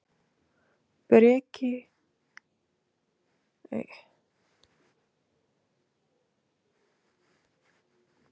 Kristján: En af hverju metur þú stöðuna svona?